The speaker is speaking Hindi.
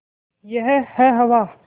यह है हवा